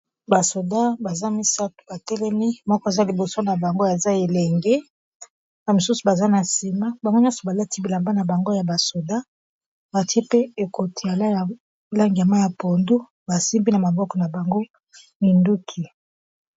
basoda baza misato batelemi moko eza liboso na bango aza elenge na mosusu baza na nsima bango nyonso balati bilamba na bango ya basoda batie pe ekotiala ya langia ma ya pondu basimbi na maboko na bango minduki